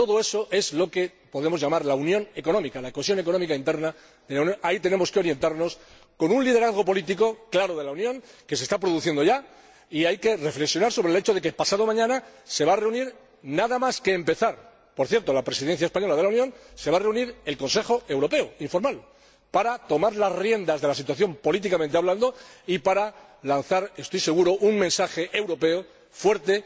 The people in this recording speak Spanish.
Todo eso es lo que podemos llamar la unión económica, la cohesión económica interna de la Unión. Hacia ahí tenemos que orientarnos, con un liderazgo político claro de la Unión, que se está produciendo ya. Hay que reflexionar sobre el hecho de que pasado mañana se va a reunir —nada más empezar, por cierto, la Presidencia española de la Unión— el Consejo Europeo informal para tomar las riendas de la situación políticamente hablando y para lanzar —estoy seguro— un mensaje europeo fuerte